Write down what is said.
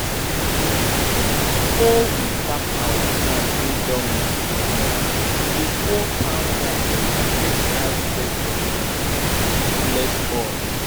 before we pack our plant wey don reach to comot we go pour palm wine for ground make ancestors um fit bless us.